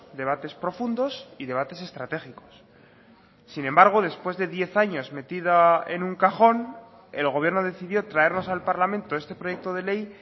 debates profundos y debates estratégicos sin embargo después de diez años metida en un cajón el gobierno decidió traernos al parlamento este proyecto de ley